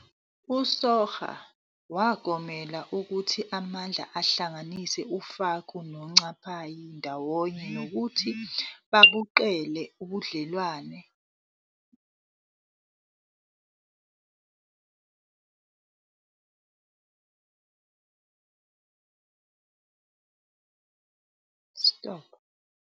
USoga wagomela ukuthi amandla ahlanganisa uFaku noNcapayi ndawonye nokuthi babuqede ubudlelwano babo emuva kwesikhathi. Ngo-1845 uNcapayi wahlasela iNyanda, ingxenye yesandla sokudla yamaMpondo ngaphansi kukaNdamase, indodana kaFaku.